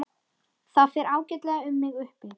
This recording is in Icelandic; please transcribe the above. Það fer ágætlega um mig uppi.